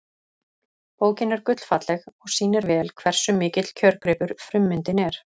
Bókin er gullfalleg og sýnir vel hversu mikill kjörgripur frummyndin er.